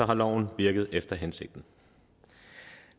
har loven virket efter hensigten